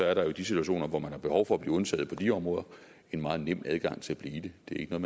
er der jo i de situationer hvor man har behov for at blive undtaget på de områder en meget nem adgang til at blive det det er ikke